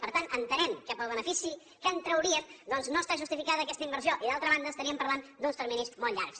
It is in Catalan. per tant entenem que pel benefici que en trauríem doncs no està justificada aquesta inversió i d’altra banda estem parlant d’uns terminis molt llargs